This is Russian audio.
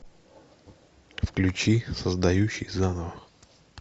включи создающий заново